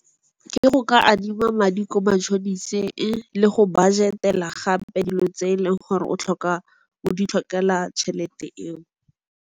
Ke go ka adima madi ko mashoniseng le go budget-ela gape dilo tse eleng gore o di tlhokela tšhelete eo.